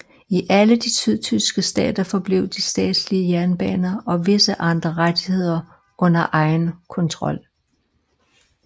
I alle de sydtyske stater forblev de statslige jernbaner og visse andre rettigheder under egen kontrol